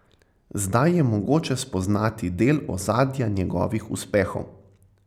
Zdaj je mogoče spoznati del ozadja njegovih uspehov.